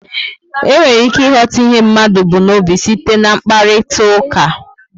E nwere ike ighọta ihe mmadụ bu n'obi site na mkparitauka